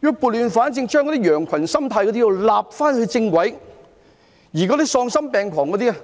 要撥亂反正，將那些羊群心態的人納入正軌，而那些喪心病狂的人